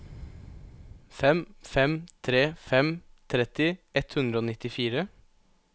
fem fem tre fem tretti ett hundre og nittifire